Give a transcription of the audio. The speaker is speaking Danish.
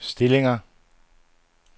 stillinger